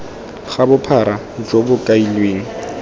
ga bophara jo bo kailweng